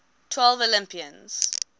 twelve olympians